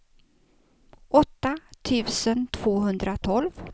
åtta tusen tvåhundratolv